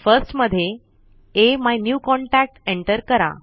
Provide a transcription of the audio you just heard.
first मध्ये अमिन्यूकॉन्टॅक्ट enter करा